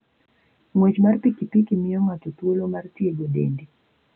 Ng'wech mar pikipiki miyo ng'ato thuolo mar tiego dende.